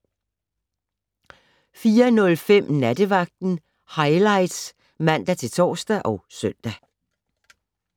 04:05: Nattevagten Highlights (man-tor og søn)